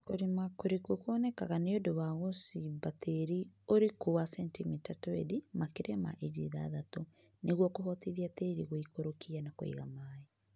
Kũrĩma kũriku kuonekanaga niũndũ wa gũcimba tĩĩri ũriku wa sentimita twendi (makĩria ma inji ithathatu) niguo kuhotithia tĩĩri gũikũrũkia na kũiga maĩ